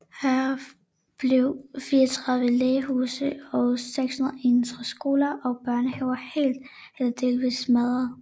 Heraf blev 34 lægehuse og 361 skoler og børnehaver helt eller delvist smadret